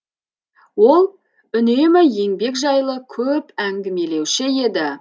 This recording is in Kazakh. ол үнемі еңбек жайлы көп әңгімелеуші еді